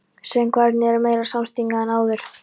Söngvararnir eru meira samstiga en áður.